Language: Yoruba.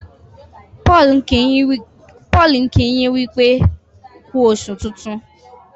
Paul nki yin wípé ku oṣù tintun.